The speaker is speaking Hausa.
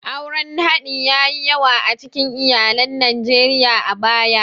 Auren haɗi ya yi yawa a cikin iyalan Najeriya a baya.